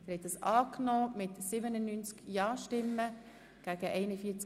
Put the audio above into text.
Sie haben Ziffer 2 als Postulat angenommen.